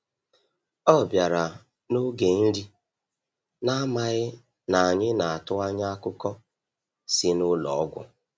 Ọ bịara n’oge nri, na-amaghị na anyị na-atụ anya akụkọ si n’ụlọ ọgwụ.